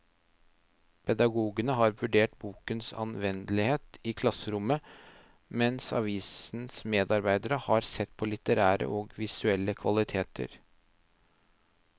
Pedagogene har vurdert bokens anvendelighet i klasserommet, mens avisens medarbeidere har sett på litterære og visuelle kvaliteter.